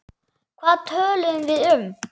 Hvað töluðum við um?